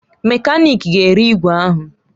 Mekaniki ga-ere igwe ahụ